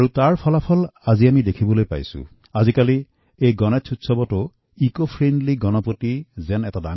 ইয়াৰ পৰিণামস্বৰূপে আমি দেখিছো যে এই গনেশ উৎসৱতো আজি পৰিৱেশঅনুকূল গণপতি নিৰ্মাণ কৰিছে